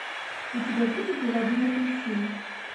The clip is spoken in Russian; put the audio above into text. у тебя будет заводной апельсин